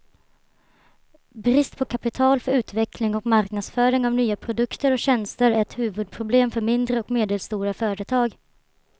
Brist på kapital för utveckling och marknadsföring av nya produkter och tjänster är ett huvudproblem för mindre och medelstora företag.